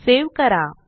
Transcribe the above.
save करा